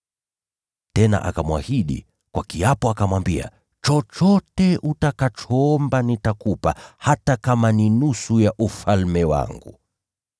Tena akamwahidi kwa kiapo, akamwambia, “Chochote utakachoomba nitakupa, hata kama ni nusu ya ufalme wangu.”